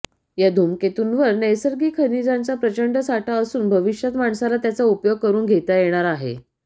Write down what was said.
या धूमकेतुंवर नैसर्गिक खनिजांचा प्रचंड साठा असून भविष्यात माणसाला त्याचा उपयोग करुन घेता येणार आहे